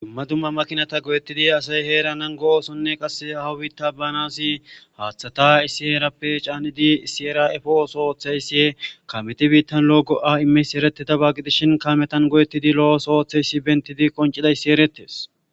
Dumma dumma makinata goyettidi asay heeranan go'osonne qasse hawitta banasi haaththata issi heerappe caanidi isiera efo'oso ooththayssie kameti biittan lo'o go'a imeysi ereteta baaggidishin kametan go'ettidi lo'oso oooththeysi bentidi qoncidayssi eretes.